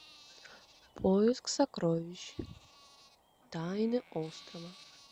поиск сокровищ тайны острова